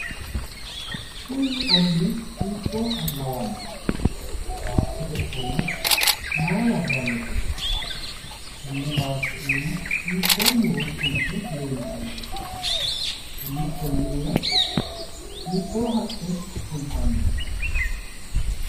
Kuni ollii hiittooha lawanno? Baattote ofollo maa labbanote? Tenne baatto iima hiittoo muro fulte leeltanno? Konni olliira hiittoo haqqe fultanno?